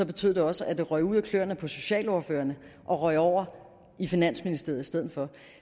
betød det også at det røg ud af klørene på socialordførerne og røg over i finansministeriet i stedet for